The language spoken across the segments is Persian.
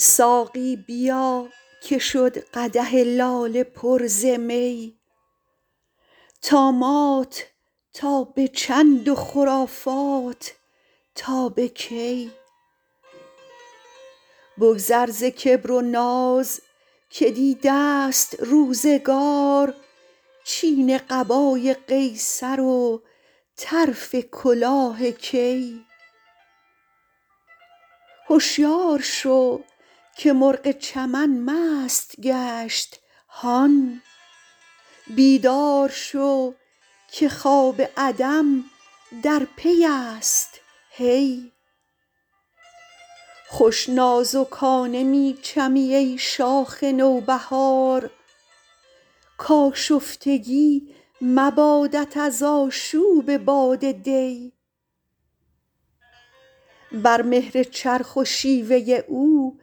ساقی بیا که شد قدح لاله پر ز می طامات تا به چند و خرافات تا به کی بگذر ز کبر و ناز که دیده ست روزگار چین قبای قیصر و طرف کلاه کی هشیار شو که مرغ چمن مست گشت هان بیدار شو که خواب عدم در پی است هی خوش نازکانه می چمی ای شاخ نوبهار کآشفتگی مبادت از آشوب باد دی بر مهر چرخ و شیوه او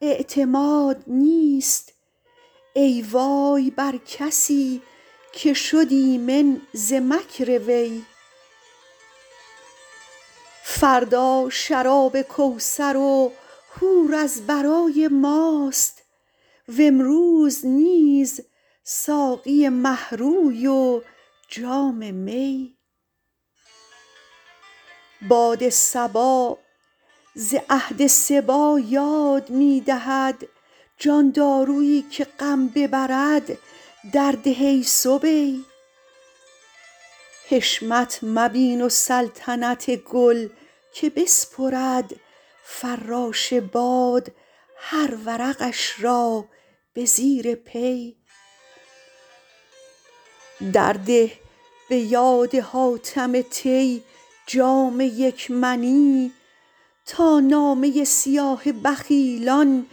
اعتماد نیست ای وای بر کسی که شد ایمن ز مکر وی فردا شراب کوثر و حور از برای ماست و امروز نیز ساقی مه روی و جام می باد صبا ز عهد صبی یاد می دهد جان دارویی که غم ببرد درده ای صبی حشمت مبین و سلطنت گل که بسپرد فراش باد هر ورقش را به زیر پی درده به یاد حاتم طی جام یک منی تا نامه سیاه بخیلان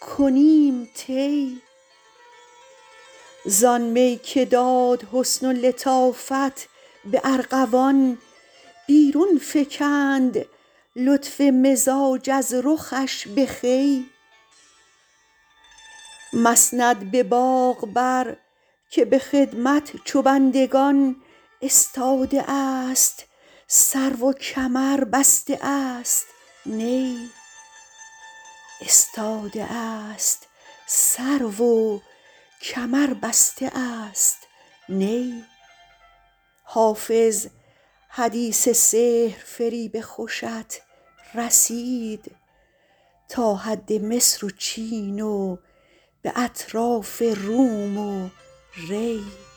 کنیم طی زآن می که داد حسن و لطافت به ارغوان بیرون فکند لطف مزاج از رخش به خوی مسند به باغ بر که به خدمت چو بندگان استاده است سرو و کمر بسته است نی حافظ حدیث سحرفریب خوشت رسید تا حد مصر و چین و به اطراف روم و ری